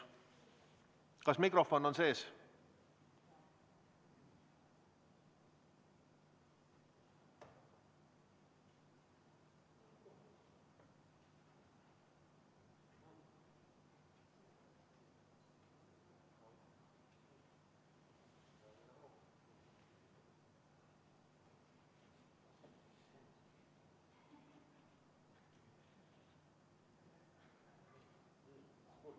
Kas mikrofon on sees?